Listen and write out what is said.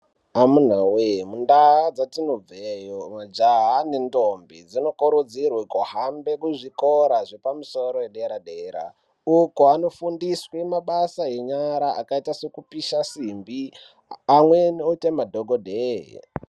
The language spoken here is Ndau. Amunawee mundaa dzatinobveyo majaha nendombi zvinokurudzirwe kuhambe kuzvikora zvepamusoro edera dera. Uko anofundiswe mabasa enyara akaita sekupisha simbi amweni oite madhokodheye.